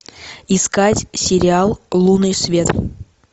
искать сериал лунный свет